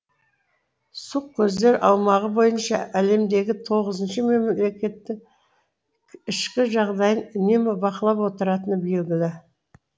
сұқ көздер аумағы бойынша әлемдегі тоғызыншы мемлекеттің ішкі жағдайын үнемі бақылап отыратыны белгілі